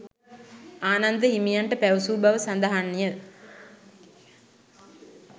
ආනන්ද හිමියන්ට පැවසූ බව සඳහන් ය.